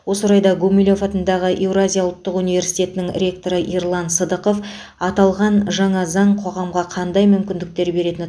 осы орайда гумилев атындағы еуразия ұлттық университетінің ректоры ерлан сыдықов аталған жаңа заң қоғамға қандай мүмкіндіктер беретіні